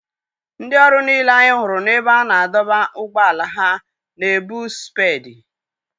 Ndị ọrụ niile anyị hụrụ n'ebe a na-adọba ụgbọala ha na-ebu spedii.